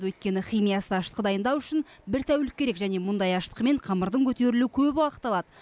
өйткені химиясыз ашытқы дайындау үшін бір тәулік керек және мұндай ашытқымен қамырдың көтерілуі көп уақыт алады